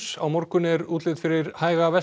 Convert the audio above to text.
á morgun er útlit fyrir hæga